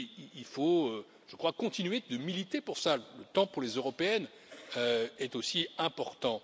Il faut aussi, je le crois, continuer de militer pour cela, le temps pour les européennes est aussi important.